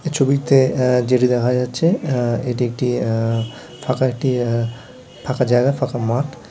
ছবিতে এ যেটা দেখা যাচ্ছে এ এটি একটি এ ফাঁকা একটি এ ফাঁকা জায়গা ফাঁকা মাঠ।